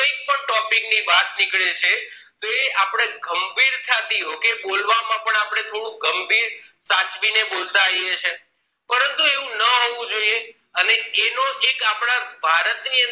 એ topic ની વાત નીકલે છે તોહ એ આપડે ગંભીરતા થી સાચવીને બોલતા આવીએ છીએ પરતું એવું ના હોવું જોઈએ અને એનો જ એક